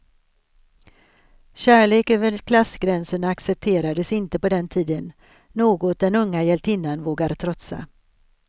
Kärlek över klassgränserna accepterades inte på den tiden, något den unga hjältinnan vågar trotsa.